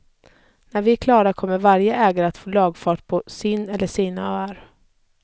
När vi är klara kommer varje ägare att få lagfart på sin eller sina öar.